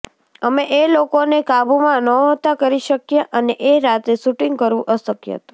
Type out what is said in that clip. અમે એ લોકોને કાબૂમાં નહોતા કરી શક્યા અને એ રાતે શૂટિંગ કરવું અશક્ય હતું